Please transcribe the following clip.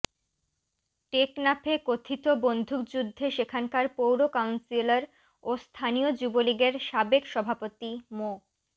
টেকনাফে কথিত বন্দুকযুদ্ধে সেখানকার পৌর কাউন্সিলর ও স্থানীয় যুবলীগের সাবেক সভাপতি মো